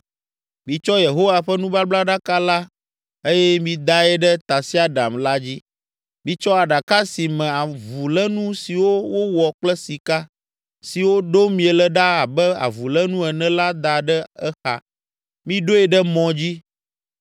Mitsɔ Yehowa ƒe nubablaɖaka la eye midae ɖe tasiaɖam la dzi, mitsɔ aɖaka si me avulénu siwo wowɔ kple sika, siwo ɖom miele ɖa abe avulénu ene la da ɖe exa. Miɖoe ɖe mɔ dzi,